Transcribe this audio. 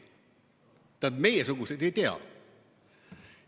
Tähendab, vähemalt meiesugused ei tea.